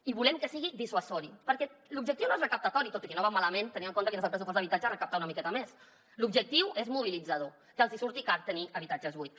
i volem que sigui dissuasiu perquè l’objectiu no és recaptador tot i que no va malament tenint en compte quin és el pressupost d’habitatge recaptar una miqueta més l’objectiu és mobilitzador que els hi surti car tenir habitatges buits